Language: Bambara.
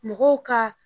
Mɔgɔw ka